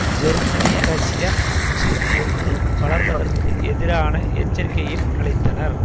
ஜெர்மனியரஷ்ய அச்சு ஒன்று வளர்வதற்கு எதிரான எச்சரிக்கையும் அளித்தனர்